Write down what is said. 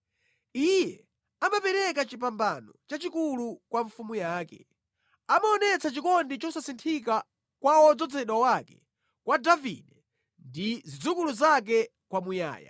Iye amapereka chipambano chachikulu kwa mfumu yake; amaonetsa chikondi chosasinthika kwa wodzozedwa wake, kwa Davide ndi zidzukulu zake kwamuyaya.